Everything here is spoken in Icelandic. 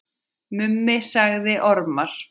Mummi sagði ormar.